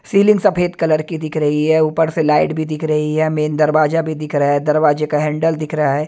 Ceiling सफेद colour की दिख रही है ऊपर से लाइट भी दिख रही है मेन दरवाजा भी दिख रहा है दरवाजे का हैंडल दिख रहा है।